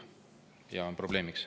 See on probleem.